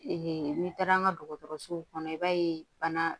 n'i taara an ka dɔgɔtɔrɔsow kɔnɔ i b'a ye bana